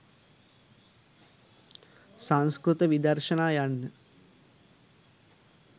සංස්කෘත විදර්ශනා යන්න